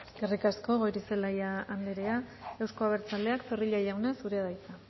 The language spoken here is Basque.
eskerrik asko goirizelaia anderea euzko abertzaleak zorrilla jauna zurea da hitza